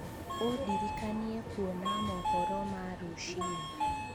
ūndirikanie kuona mohoro ma rūciini